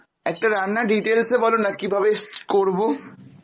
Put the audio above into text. একটা রান্না details e বলো না, কীভাবে করবো